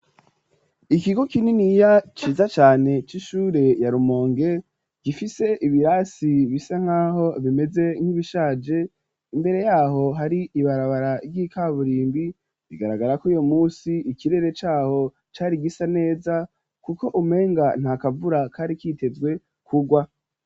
Ikigo kininiya, ciza cane, c'ishure ya Rumonge, gifise ibirasi, bisa nk'aho bimeze, nk'ibishaje; imbere y'aho, hari ibarabara ry'ikaburimbi; bigaragara ko uyu munsi, ikirere c'aho cari gisa neza, kuko umenga, nta kavura kari kitezwe, kugwa.